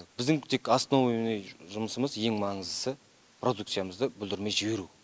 біздің тек основной жұмысымыз ең маңыздысы продукциямызды бүлдірмей жіберу